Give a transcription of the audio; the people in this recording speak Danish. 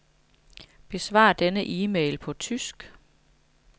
Besvar denne e-mail på tysk.